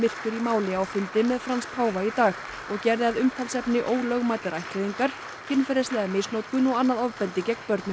máli á fundi með Frans páfa í dag og gerði að umtalsefni ólögmætar ættleiðingar kynferðislega misnotkun og annað ofbeldi gegn börnum